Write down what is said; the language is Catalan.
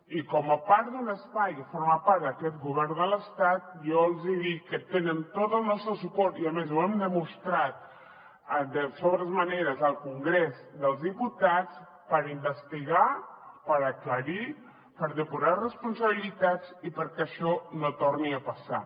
i com a part d’un espai que forma part d’aquest govern de l’estat jo els hi dic que tenen tot el nostre suport i a més ho hem demostrat de sobrades maneres al congrés dels diputats per investigar per aclarir per depurar responsabilitats i perquè això no torni a passar